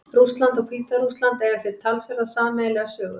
Rússland og Hvíta-Rússland eiga sér talsverða sameiginlega sögu.